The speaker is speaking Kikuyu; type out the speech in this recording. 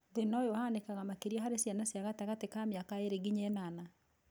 Thĩna ũyũ ũhanĩkaga makĩria harĩ ciana cia gatagatĩ ka mĩaka ĩrĩ nginya ĩnana